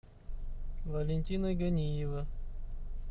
валентина ганиева